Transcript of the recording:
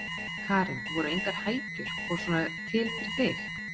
Karen: Voru engar hækjur og svona til fyrir þig?